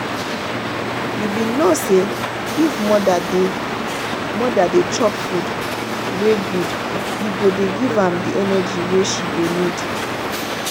you been know say if mother dey mother dey chop food wey good e go dey give am the energy wey she go need.